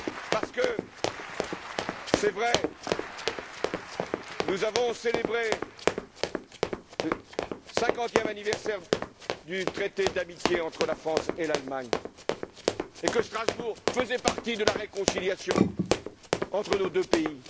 Parce que, c'est vrai, nous avons célébré le 50e anniversaire du traité d'amitié entre la France et l'Allemagne et que Strasbourg faisait partie de la réconciliation entre nos deux pays.